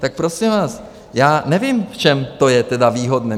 Tak prosím vás, já nevím, v čem to je tedy výhodné.